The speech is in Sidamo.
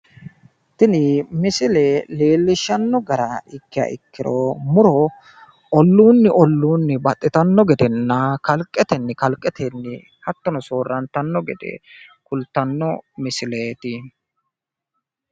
tini misile leellishshanno gara ikkiro muro olluunni olluunni baxxitanno gedenna kalqetenni kalqete hattono soorrantanno gede kultanno misileeti.